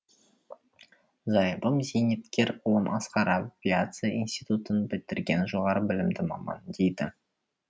зайыбым зейнеткер ұлым асқар авиация институтын бітірген жоғары білімді маман дейді